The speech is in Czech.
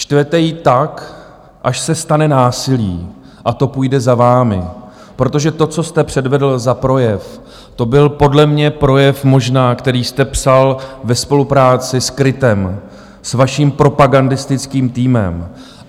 Štvete ji tak, až se stane násilí, a to půjde za vámi, protože to, co jste předvedl za projev, to byl podle mě projev možná, který jste psal ve spolupráci s KRITem, s vaším propagandistickým týmem.